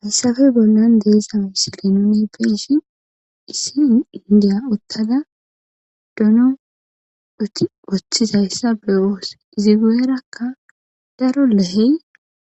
Haysafe bollan deesa wisi lenone beshin issi indiya ottada dono oti woththizayssa be7oos izi geerakka daro lehey